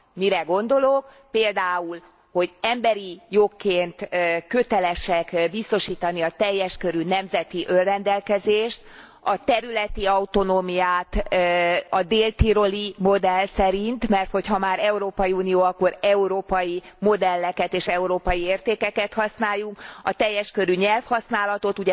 Mire gondolok például, hogy emberi jogként kötelesek biztosítani a teljes körű nemzeti önrendelkezést, a területi autonómiát a dél tiroli modell szerint mert hogyha már Európai Unió, akkor európai modelleket és európai értékeket használjunk a teljes körű nyelvhasználatot.